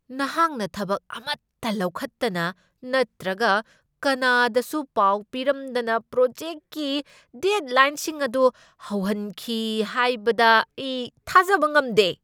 ꯅꯍꯥꯛꯅ ꯊꯕꯛ ꯑꯃꯠꯇ ꯂꯧꯈꯠꯇꯅ ꯅꯠꯇ꯭ꯔꯒ ꯀꯅꯥꯗꯁꯨ ꯄꯥꯎ ꯄꯤꯔꯝꯗꯅ ꯄ꯭ꯔꯣꯖꯦꯛꯀꯤ ꯗꯦꯗꯂꯥꯏꯟꯁꯤꯡ ꯑꯗꯨ ꯍꯧꯍꯟꯈꯤ ꯍꯥꯏꯕꯗ ꯑꯩ ꯊꯥꯖꯕ ꯉꯝꯗꯦ꯫